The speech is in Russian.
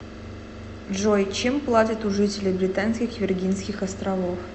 джой чем платят у жителей британских виргинских островов